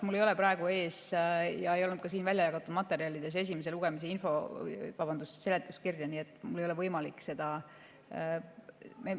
Mul ei ole esimese lugemise seletuskirja praegu ees ja seda ei olnud ka väljajagatud materjalide hulgas, nii et mul ei ole võimalik seda.